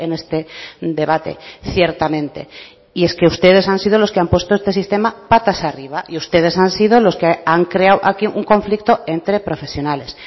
este debate ciertamente y es que ustedes han sido los que han puesto este sistema patas arriba y ustedes han sido los que han creado aquí un conflicto entre profesionales